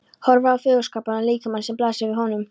Horfir á fagurskapaðan líkamann sem blasir við honum.